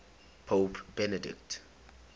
pope benedict